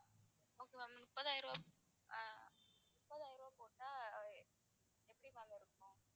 okay ma'am முப்பதாயிரம் ரூபாய் ஆஹ் முப்பதாயிரம் ரூபாய் போட்டா எப்படி ma'am இருக்கும்?